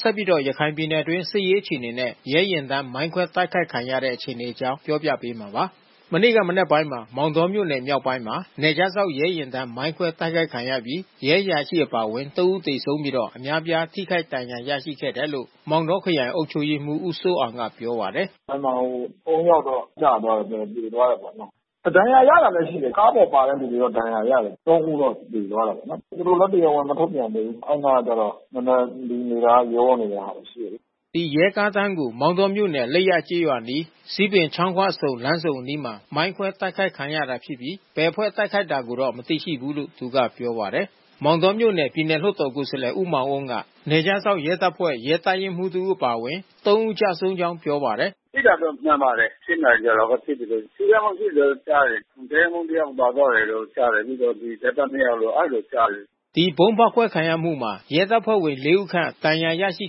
ဆက်ပြီးတော့ ရခိုင်ပြည်နယ်အတွင်း စစ်ရေးအခြေအနေနဲ့ ရဲယာဉ်တန်း မိုင်းခွဲတိုက်ခိုက်ခံရတဲ့အခြေအနေအကြောင်း ပြောပြပေးမှာပါ။ မနေ့က မနက်ပိုင်းမှာ မောင်တောမြို့နယ်မြောက်ပိုင်းမှာ နယ်ခြားစောင့်ရဲယာဉ်တန်း မိုင်းခွဲတိုက်ခိုက်ခံရပြီး ရဲအရာရှိ အပါဝင် သုံး ဦး သေဆုံးပြီး အများပြားထိခိုက်ဒဏ်ရာရရှိခဲ့တယ်လို့ မောင်တောခရိုင်အုပ်ချုပ်ရေးမှူး ဦးစိုးအောင်က ပြောပါတယ်။ “အဲဒီမှာဟို သုံး ယောက်တော့ ကျသွားတယ်။ သေသွားတာပေါ့။ ဒဏ်ရာရတာလည်း ရှိတယ်။ ကားပေါ်ပါလာတဲ့သူတွေတော့ ဒဏ်ရာရတယ်။ သုံးဦးတော့ သေသွားတာပေါ့နော်။ သူတို့လည်း တရားဝင် မထုတ်ပြန်သေးဘူး။ အဲဒီအနားကျတော့ နည်းနည်းလူနေတာရောနေတာ ရှိတယ်လေ။” ရဲကားတန်းကို မောင်တောမြို့နယ် လိပ်ရကျေးရွာအနီး ဇီးပင်ချောင်းခွဆုံ အနီးမှာ မိုင်းခွဲ တိုက်ခိုက်ခံရတာ ဖြစ်ပြီး ဘယ်အဖွဲ့တိုက်ခိုက်တာကိုတော့ မသိရှိဘူးလို့သူကပြောပါတယ်။ မောင်တောမြို့နယ် ပြည်နယ်လွှတ်တော် ကိုယ်စားလှယ် ဦးမောင်အုန်းက နယ်ခြားစောင့် ရဲတပ်ဖွဲ့ ရဲတပ်ရင်းမှူးတဦး အပါအဝင် သုံးဦး ကျဆုံးကြောင်းပြောပါတယ်။ “ထိတာတော့ မှန်ပါတယ်။ ၈ နာရီကျော်လောက်က ဖြစ်တယ်လို့။ ထိခိုက်မှု ရှိတယ်လို့ကြားတယ်။ တပ်ရင်းမှူး တယောက်ပါသွားတယ်လို့ ကြားတယ်။ ပြီးတော့ရဲသား နှစ်ယောက်လို့ အဲဒီလိုကြားတယ်။” ဒီဗုံးဖေါက်ခွဲခံရမှုမှာ ရဲတပ်ဖွဲ့ဝင် လေးဦးခန့် ဒဏ်ရာရရှိ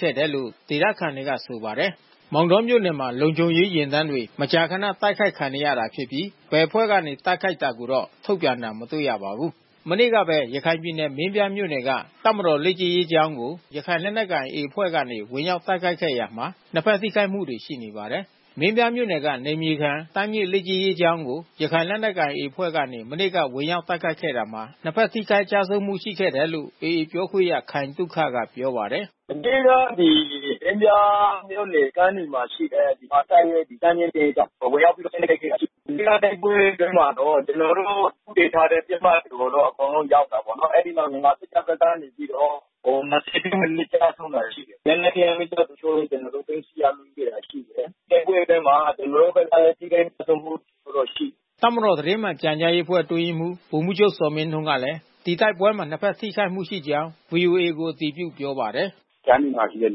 ခဲ့တယ်လို့ ဒေသခံတွေက ဆိုပါတယ်။ မောင်တောမြို့နယ်မှာ လုံခြုံရေးယာဉ်တန်းတွေ မကြာခဏ တိုက်ခိုက်ခံနေရတာဖြစ်ပြီး ဘယ်အဖွဲ့ကနေ တိုက်ခိုက်တာကိုတော့ ထုတ်ပြန်တာ မတွေ့ရပါဘူး။ မနေ့ကပဲ ရခိုင်ပြည်နယ်မင်းပြားမြို့နယ်က တပ်မတော်လေ့ကျင့်ရေးကျောင်းကို ရခိုင်လက်နက်ကိုင် AA အဖွဲ့ကနေ ဝင်ရောက်တိုက်ခိုက်ခဲ့ရာမှာ နှစ်ဘက်ထိခိုက်မှုတွေ ရှိခဲ့ပါတယ်။ မင်းပြားမြို့နယ်က နယ်မြေခံတန်းမြင့် လေ့ကျင့်ရေးကျောင်းကို ရခိုင်လက်နက်ကိုင် AA အဖွဲ့ကနေ မနေ့က ဝင်ရောက် တိုက်ခိုက်ခဲ့တာမှာ နှစ်ဘက်ထိခိုက်ကျဆုံးမှု ရှိခဲ့တယ်လို့ AA ပြောခွင့်ရခိုင်သုခက ပြောပါတယ်။ “မနေ့ကဒီ မင်းပြားမြို့နယ် ကမ်းနီမှာရှိတဲ့ မြန်မာတပ်ရင့်တန်းမြင့်လေ့ကျင့်ရေးကျောင်း ဝင်ရောက်ပြီးတိုက်ခိုက်ခဲ့တာ ရှိတယ်။ မနေ့ကတိုက်ပွဲအတွင်းမှာတော့ ကျွန်တော်တို့သေချာတဲ့ပစ်မှတ်ကိုတော့ အကုန်လုံးရောက်တာပေါ့နော်။ အဲဒီမှာ မြန်မာစစ်တပ်ဘက်ကနေပြီးတော့ ၂၀ ထက် မနည်းကျဆုံးတာရှိတယ်။ လက်နက်ခဲယမ်းမီးကျောက်တချို့လည်း ကျနော်တို့ သိမ်းဆည်းရမိတာရှိတယ်။ တိုက်ပွဲအတွင်းမှာ ကျနော်တို့ဘက်ကလည်း ထိခိုက်ကျဆုံးမှုတော့ရှိတယ်။” တပ်မတော်သတင်းမှန်ပြန်ကြားရေးအဖွဲ့ အတွင်းရေးမှူး ဗိုလ်မှူးချုပ်ဇော်မင်းထွန်းကလည်း ဒီတိုက်ပွဲမှာ နှစ်ဘက်ထိခိုက်မှုရှိခဲ့ကြောင်း ဗွီအိုအေကို အတည်ပြုပြောပါတယ်။ "ကမ်းနီမှာရှိတဲ့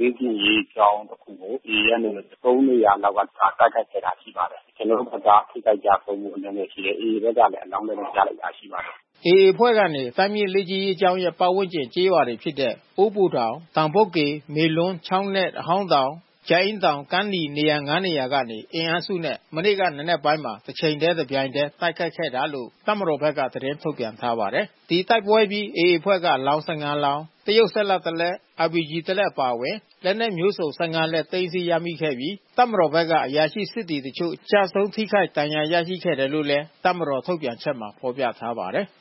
လေ့ကျင့်ရေးကျောင်းတစ်ခုကို AA ကနေ သုံးနေရာလောက်က လာရောက် တိုက်ခိုက်ခဲ့တာ ရှိပါတယ်။ ကျနော်တို့ဘက်က ထိခိုက်ကျဆုံးမှု အနည်းငယ်ရှိပါတယ် AA ဘက်ကလည်း အလောင်းတွေတော့ ရလိုက်တာရှိပါတယ်။" AA အဖွဲ့ကနေ တန်းမြင့်လေ့ကျင့်ရေး ကျောင်းရဲ့ ပတ်ဝန်းကျင် ကျေးရွာများဖြစ်တဲ့ အိုးဘိုတောင်၊ တောင်ဘုတ်ကေ၊ မေလွန်း၊ ချောင်းနက်၊ အဟောင်းတောင်၊ ကြာအင်းတောင်၊ ကမ်းနီ၊ နေရာငါးနေရာကနေ အင်အားစုနဲ့ မနေ့က မနက်ပိုင်းမှာ တချိန်တည်း တပြိုင်တည်း တိုက်ခိုက်ခဲ့တာလို့ တပ်မတော်ဘက်က သတင်းထုတ်ပြန်ထားပါတယ်။ ဒီတိုက်ပွဲအပြီး AA အဖွဲ့က အလောင်း ၁၅ လောင်း၊ တရုတ်စက်လတ် တလက်၊ အာပီဂျီ တလက်အပါအဝင် လက်နက်မျိုးစုံ ၁၅ လက် သိမ်းဆည်းရမိခဲ့ပြီး တပ်မတော်ဘက်ကအရာရှိ၊ စစ်သည်အချို့ ကျဆုံး ထိခိုက် ဒဏ်ရာ ရရှိ ခဲ့တယ်လို့လည်း တပ်မတော်ထုတ်ပြန်ချက်မှာ ဖော်ပြထားပါတယ်။